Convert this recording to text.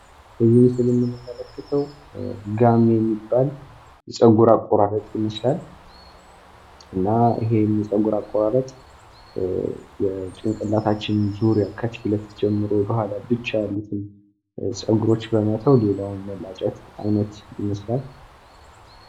በዚህ ምስል ላይ የምንመለከተው ጋሜ የሚባል ጸጉር አቆራረጥ ይመስላል። እና ይህም ጸጉር አቆራረጥ የጭንቅላታችን ዙሪያ ካታች ጀምሮ በዓላቶች አሉትኝ። እና ጸጉሮች በመተው ሌላውን መላጨት አይነት ይመስላል።